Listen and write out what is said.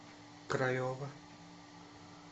крайова